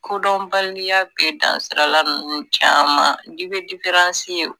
Kodɔnbaliya bɛ dansirala ninnu caman i bɛ ye